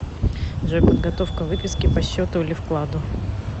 джой подготовка выписки по счету или вкладу